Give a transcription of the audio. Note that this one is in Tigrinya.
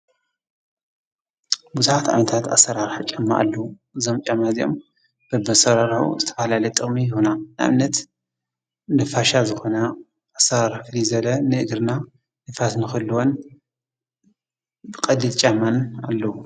ብዙኃት ኣይነታት ኣሠራርሕ ጨማ ኣሉዉ ዘም ጫማ እዘኦም ብመሠራራዊ ዝተፍልለት ጫማ ይሁና ኣምነት ንፋሻ ዝኾነ ኣሠራራፍሊ ዘለ ንእግርና ንፋስ ንኸልወን ብቐሊል ጫማን ኣለዉ።